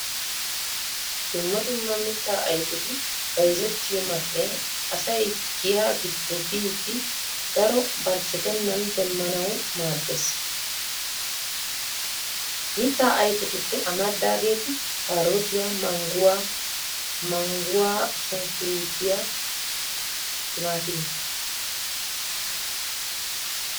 Dumma dumma miittaa ayfetti bayzzettiyo man'e asay giya giddo biidi daro barchchettenan demmnanwu maaddees. Mitta ayfetuppe amaridagetti karottiya, mangguwaa, mangguwaa sunkkurutiyaa, timaatimiya.